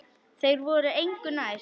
Þeir voru engu nær.